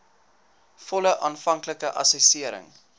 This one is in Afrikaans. volle aanvanklike assessering